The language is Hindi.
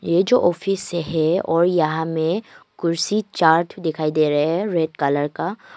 ये जो ऑफिस है और यहां में कुर्सी चार ठो दिखाई दे रहे हैं रेड कलर का।